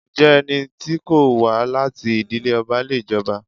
Ǹjẹ́ ẹni tí kò wá láti ìdílé ọba le jọba?